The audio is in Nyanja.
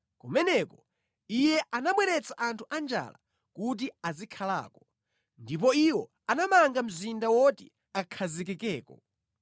kumeneko Iye anabweretsa anthu anjala kuti azikhalako, ndipo iwo anamanga mzinda woti akhazikikeko.